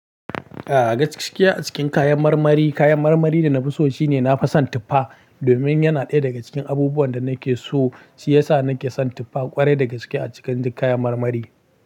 Eh, gaskiya a cikin kayan marmari, kayan marmari da na fi so shi ne na fi san tuffa. Domin yana ɗaya daga cikin abubuwan da nake so, shi yasa nake son tuffa ƙwarai da gaske a cikin duk kayan marmari.